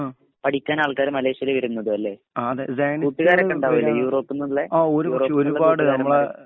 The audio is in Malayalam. പഠിക്കാൻ ആൾകാർ മലേഷ്യയിൽ വരുന്നത് അല്ലേ. കൂട്ടുകാർ ഒക്കെ ഉണ്ടാവില്ലേ യൂറോപ്പിൽ നിന്നുള്ള